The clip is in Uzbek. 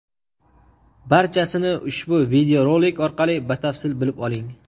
Barchasini ushbu videorolik orqali batafsil bilib oling!.